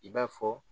I b'a fɔ